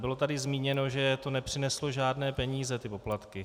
Bylo tady zmíněno, že to nepřineslo žádné peníze, ty poplatky.